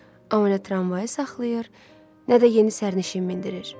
Amma nə tramvayı saxlayır, nə də yeni sərnişin mindirir.